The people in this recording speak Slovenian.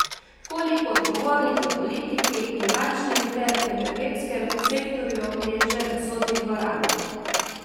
Koliko odgovornih v politiki in bančnem ter energetskem sektorju je že v sodni dvorani?